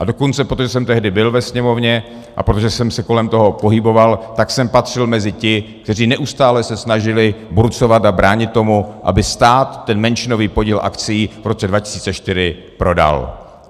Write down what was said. A dokonce, protože jsem tehdy byl ve Sněmovně a protože jsem se kolem toho pohyboval, tak jsem patřil mezi ty, kteří neustále se snažili burcovat a bránit tomu, aby stát ten menšinový podíl akcií v roce 2004 prodal.